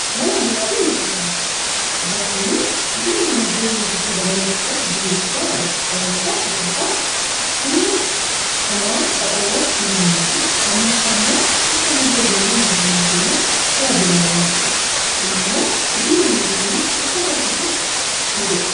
Mana bunaafi manneen nyaataa egaa kunniin guddina dinagdee biyya tokko dabaluu keessatti ga'ee guddaa taphatu. Sababni isaa tokkoffaa humna namaa qaxaruurratti ni hirmaatu ,lammaffaa immoo akka madda-galii mootummaaf illee tajaajilu waan ta'eef.